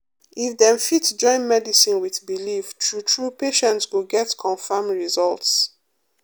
if dem fit join medicine with belief true true patients go get confam results.